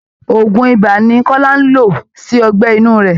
Òògùn ibà ni Kọ́lá ń lò sí ọgbẹ́ inú rẹ̀